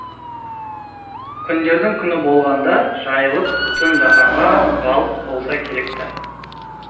күндердің күні болғанда жайылып бүтін жаһанға ғалып болса керек ті